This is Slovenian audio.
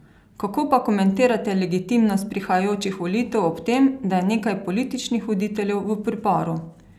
Kako pa komentirate legitimnost prihajajočih volitev ob tem, da je nekaj političnih voditeljev v priporu?